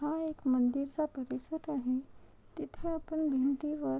हा एक मंदिर चा परिसर आहे तिथे आपण भिंतीवर--